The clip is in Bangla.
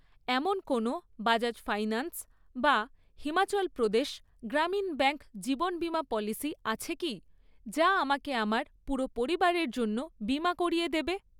এমন কোনো বাজাজ ফাইন্যান্স বা হিমাচল প্রদেশ গ্রামীণ ব্যাঙ্ক জীবন বিমা পলিসি আছে কি যা আমাকে আমার পুরো পরিবারের জন্য বিমা করিয়ে দেবে?